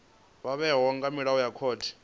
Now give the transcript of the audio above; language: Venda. vhewaho nga milayo ya khothe